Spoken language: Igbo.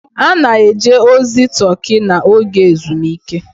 A na-eje ozi Turkey n'oge ezumike.